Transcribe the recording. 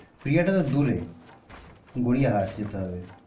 প্রিয়া টা তো দূরে গড়িয়াহাট যেতে হবে